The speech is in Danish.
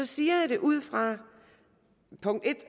siger jeg det ud fra